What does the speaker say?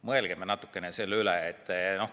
Mõelgem natukene selle üle!